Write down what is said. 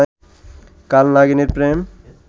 কাল নাগিনীর প্রেম